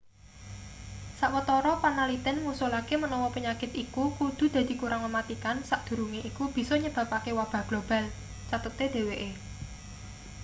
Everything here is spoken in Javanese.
sawetara panaliten ngusulake menawa penyakit iku kudu dadi kurang mematikan sadurunge iku bisa nyebabake wabah global cathete dheweke